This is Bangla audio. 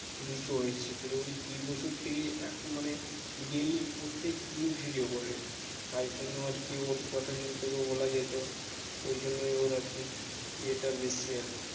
দুইশো হয়েছে তালে ওই দুই বছর থেকে এক মানে daily প্রত্যেকদিন video করে তাই জন্য আরকি ওর কথা যদি তোকে বলা যাই ওই জন্যই ওর আরকি ইয়েটা বেশি আরকি